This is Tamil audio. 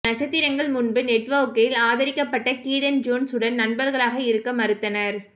நட்சத்திரங்கள் முன்பு நெட்வொர்க்கில் ஆதரிக்கப்பட்ட கீடன் ஜோன்ஸ் உடன் நண்பர்களாக இருக்க மறுத்தனர்